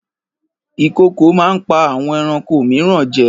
Ìkokò máa ń pa àwọn ẹranko mìíràn jẹ